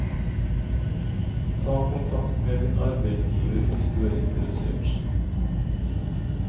Ta kontakt med din arbeidsgiver hvis du er interessert.